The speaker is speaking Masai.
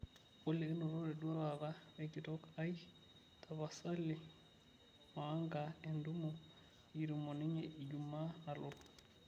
olly kinotote duo taata we nkitok aai tapasali moanga entumo nikitum o ninye ijumaa nalotu